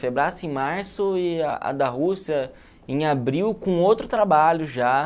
em março e a da Rússia em abril, com outro trabalho já.